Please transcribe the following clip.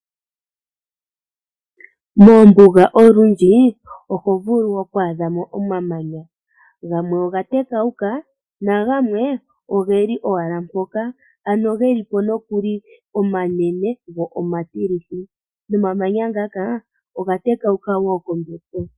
Moombuga olundji oho vulu oku adha mo omamanya, gamwe oga tekawuka nagamwe oge li owala mpoka, ano ge li po nokuli omanene go omatilithi. Nomamanya ngaka oga tekauka woo kombepo.